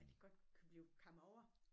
At det godt kunne blive kamme over